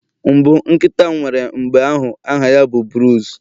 mbụ nkịta m nwere mgbe ahu aha ya bụ Bruce